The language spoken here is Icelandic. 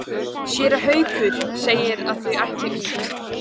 Séra Haukur segir að þau ætli út.